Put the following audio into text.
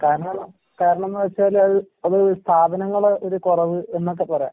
കാരണം കാരണംന്ന് വെച്ചാലത് അത് സ്ഥാപനങ്ങടെ ഒര് കൊറവ് എന്നൊക്കെ പറയാം.